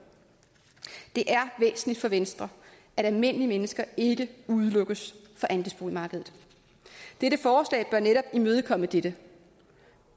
det er væsentligt for venstre at almindelige mennesker ikke udelukkes fra andelsboligmarkedet dette forslag bør netop imødekomme dette